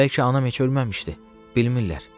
Bəlkə anam heç ölməmişdi, bilmirlər.